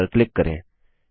create पर click करें